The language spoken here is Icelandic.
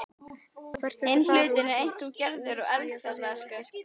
Hvert ertu að fara úr því þú hefur ekkert bréf?